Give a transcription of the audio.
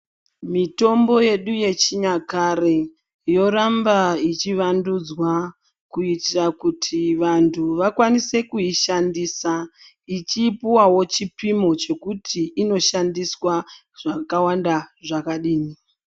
Mitombo yedu yechinyakare yoramba ichiwandudzwa kuitira kuti vantu wakwanise kuishandisa ichipiwawo chipimo chekuti inoshandiswa zvakawanda zvakadini.